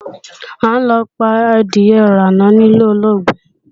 A ń lọ pa adìe-ìránà níle olóògbé.